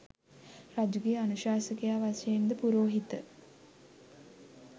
රජුගේ අනුශාසකයා වශයෙන් ද පුරෝහිත